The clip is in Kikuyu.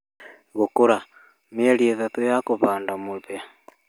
Gũkũra:mĩeri 3 ya kũhanda mũhĩa